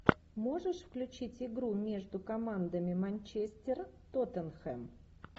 можешь включить игру между командами манчестер тоттенхэм